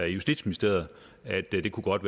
justitsministeriet at det godt